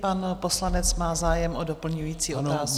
Pan poslanec má zájem o doplňující otázku.